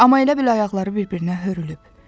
Amma elə bil ayaqları bir-birinə hörülüb.